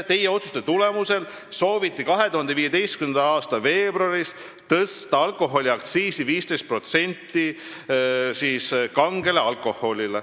Teie otsuste tulemusel sooviti 2015. aasta veebruaris tõsta kange alkoholi aktsiisi 15%.